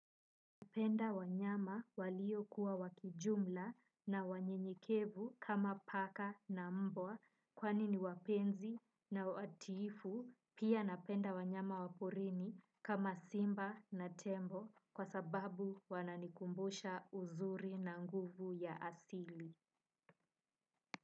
Napenda wanyama waliokuwa wa kijumla na wanyenyekevu kama paka na mbwa kwani ni wapenzi na watiifu pia napenda wanyama wa porini kama simba na tembo kwa sababu wananikumbusha uzuri na nguvu ya asili.